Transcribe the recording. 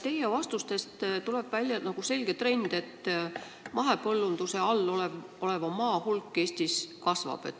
Teie vastustest tuli välja selge trend, et mahepõllunduse all oleva maa pindala Eestis kasvab.